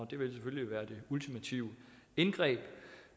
det vil selvfølgelig være det ultimative indgreb